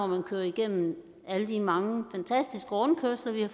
man kører igennem alle de mange fantastiske rundkørsler vi har